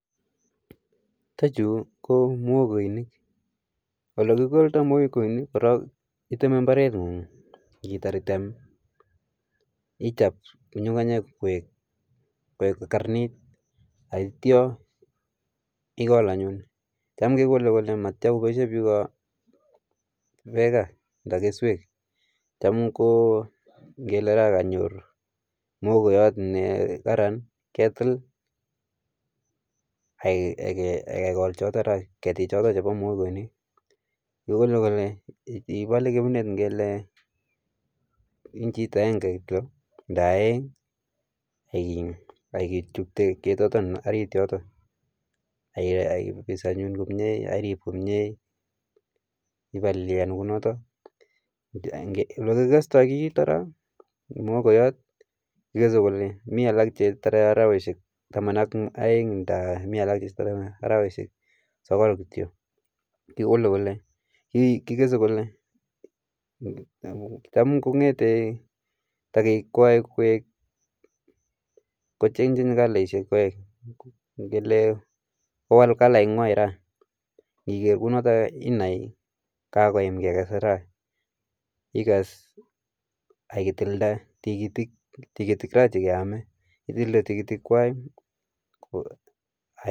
Chuton chu ko mogoinik, ole kikooldoo mogoinik koroon, iteme imbarengung. Inditar item, ichob ng'ung'unyek koik kararanit. Yeityoo igol anyun, tam kegole koboishien biik beek any, anan keswek. Tam ko ingle konyoru mogoyoot nekaran, ketil ak kegool choton any. Keetik chiton chebo mogoinik, kigole ibole kering'et ingle inchit agenge kityook anan ko oeng. Ak itubchii ketotoon orit yotok, akibisi anyun komie, irib komie, olekikestoo mogooyot. Kigese kole, mi alak chetore arawek tamn ak oeng, mi alak chetore arawek sogool kityok. Kigese kole, tamkongete kikwaikwai, kowal kalaisiek chwak, ingele kowal kalainywan ra, igeer kounotok inai kakoyaam keges ra. Iges any itildee tikitik, tikitik ra chekeome, kitile tigitikwak